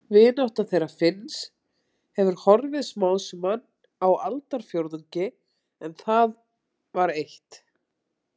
Vinátta þeirra Finns hefur horfið smám saman á aldarfjórðungi en það var eitt.